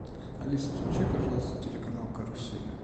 алиса включи пожалуйста телеканал карусель